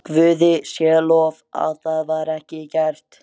Guði sé lof að það var ekki gert.